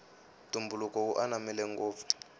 ntumbuluko wu ananmile ngopfu